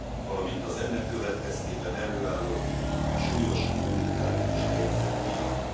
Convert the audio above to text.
valamint az ennek következtében előállott súlyos humanitárius helyzet miatt.